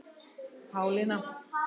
Pálína